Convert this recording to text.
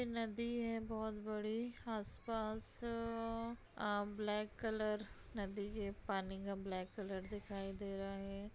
नदी है बोहोत बड़ी आस-पास अ ब्लैक कलर नदी के पानी का ब्लैक कलर दिखाई दे रहा है।